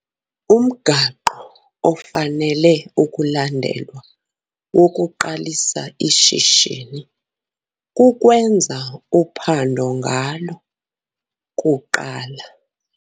Umgaqo ofanele ukulandelwa wokuqalisa ishishini kukwenza uphando ngalo kuqala.